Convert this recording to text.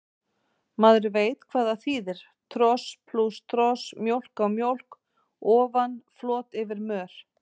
Maður veit hvað það þýðir, tros plús tros, mjólk á mjólk ofan, flot yfir mör.